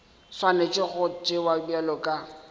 swanetše go tšewa bjalo ka